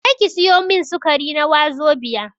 Je ki sayo min sukari na wazobia